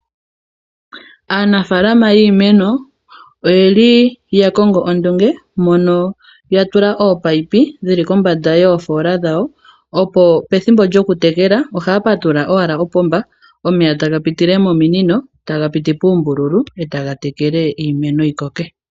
Aanafaalama yiimeno oye li ya kongo ondunge, mono ya tula ominino dhili kombanda yoofoola dhawo, opo pethimbo lyokutekela ohaya patulula wala opomba, omeya ta ga pitile mominino ta ga piti puumbululu, e ta ga tekele iimeno yi koke.